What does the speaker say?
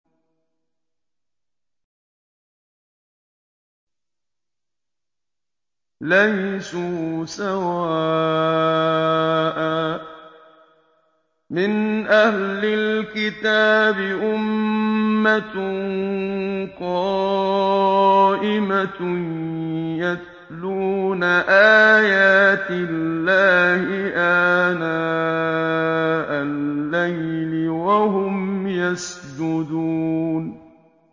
۞ لَيْسُوا سَوَاءً ۗ مِّنْ أَهْلِ الْكِتَابِ أُمَّةٌ قَائِمَةٌ يَتْلُونَ آيَاتِ اللَّهِ آنَاءَ اللَّيْلِ وَهُمْ يَسْجُدُونَ